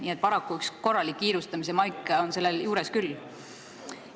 Nii et paraku on korralik kiirustamise maik sellel juures küll.